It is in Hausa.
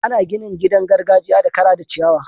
Ana ginin gidan gargajiya da kara da ciyawa.